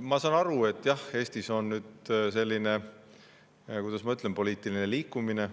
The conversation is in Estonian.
Ma saan aru, et jah, Eestis on nüüd selline, kuidas ma ütlen, poliitiline liikumine